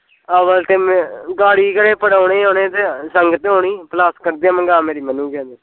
ਅਗਰ ਤੇ ਗਾੜੀ ਕਿਹੜੇ ਪਰਾਉਣੇ ਆਉਣੇ ਤੇ ਸੰਗਤ ਆਉਣੀ ਪਲਾਸਕਟ ਦੀਆਂ ਮਗਾ ਮੇਰੀ ਮਨਉਗਏ ਤੇ